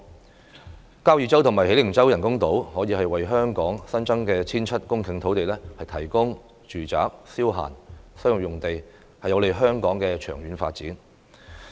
在交椅洲和喜靈洲興建人工島，可以為香港新增 1,700 公頃土地，提供住宅、消閒、商業用地，有利香港長遠發展。